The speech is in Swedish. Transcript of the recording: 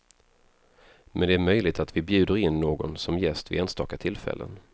Men det är möjligt att vi bjuder in någon som gäst vid enstaka tillfällen.